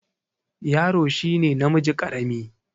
Yaro shi ne namiji ƙarami.